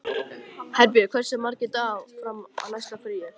Herbjörg, hversu margir dagar fram að næsta fríi?